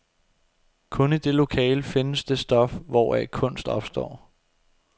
Kun i det lokale findes det stof, hvoraf kunst opstår.